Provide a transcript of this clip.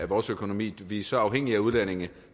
vores økonomi vi er så afhængige af udlændinge